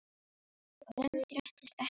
Og enn fréttist ekkert af þýfinu.